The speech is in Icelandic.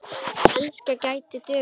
Enska gæti dugað.